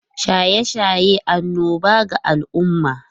Shaye-shaye annoba ga al’umma